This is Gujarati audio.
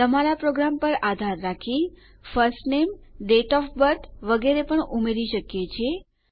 તમારા પ્રોગ્રામ પર આધાર રાખી first name date of birth વગેરેને પણ ઉમેરી શકીએ છીએ